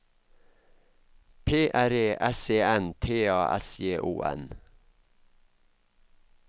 P R E S E N T A S J O N